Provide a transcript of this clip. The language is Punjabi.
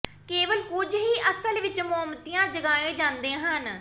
ਕੇਵਲ ਕੁਝ ਹੀ ਅਸਲ ਵਿੱਚ ਮੋਮਬੱਤੀਆਂ ਜਗਾਏ ਜਾਂਦੇ ਹਨ